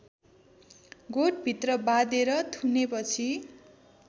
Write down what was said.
गोठभित्र बाँधेर थुनेपछि